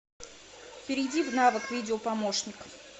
перейди в навык видео помощник